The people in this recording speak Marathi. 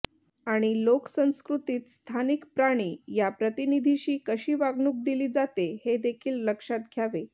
आणि लोकसंस्कृतीत स्थानिक प्राणी या प्रतिनिधीशी कशी वागणूक दिली जाते हे देखील लक्षात घ्यावे